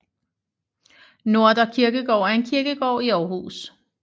Nordre Kirkegård er en kirkegård i Aarhus